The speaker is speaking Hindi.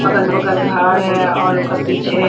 अगल-बगल घर है और उकर पीछे --